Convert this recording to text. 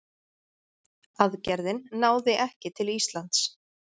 Aðgerðin náði ekki til Íslands.